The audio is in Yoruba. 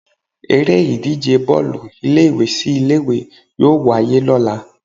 Eré ìdíje Bọ́ọ̀lù ilé ìwé sí ilé ìwé yóò wáyé lọ́la.